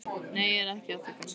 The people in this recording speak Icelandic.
Nei, ég er ekki að því kannski.